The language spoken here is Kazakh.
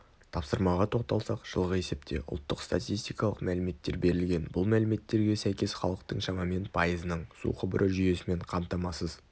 тапсырмаға тоқталсақ жылғы есепте ұлттық статистикалық мәліметтер берілген бұл мәліметтерге сәйкес халықтың шамамен пайызының су құбыры жүйесімен қамтамасыз